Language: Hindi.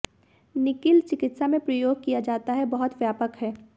निकल चिकित्सा में प्रयोग किया जाता है बहुत व्यापक है